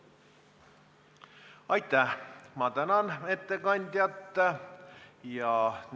Aitäh, ma tänan ettekandjat!